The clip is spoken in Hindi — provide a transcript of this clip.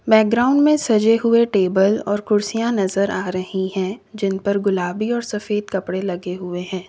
बैकग्राउंड में सजे हुए टेबल और कुर्सियां नजर आ रही हैं जिन पर गुलाबी और सफेद कपड़े लगे हुए हैं।